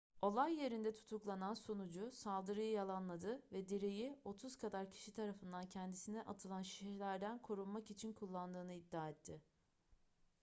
olay yerinde tutuklanan sunucu saldırıyı yalanladı ve direği otuz kadar kişi tarafından kendisine atılan şişelerden korunmak için kullandığını iddia etti